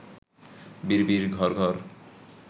বিড়বিড়, ঘড়ঘড়